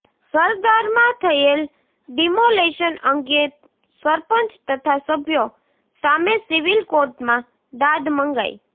સરધારમાં થયેલ ડિમોલેશન અંગે સરપંચ તથા સભ્યો સામે સીવીલ કોર્ટમાં દાદ મંગાઇ